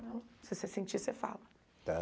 Se você sentir, você fala.